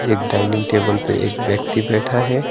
एक dining table पे एक व्यक्ति बैठा है।